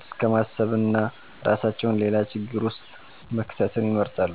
እስከማሰብና እራሳቸዉን ሌላ ችግር ዉስጥ መክተትን ይመርጣሉ